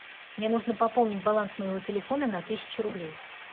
мне нужно пополнить баланс моего телефона на тысячу рублей